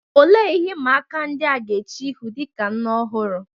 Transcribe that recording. Olee ihe ịma aka ndị a ga-eche ihu dị ka nne ọhụrụ?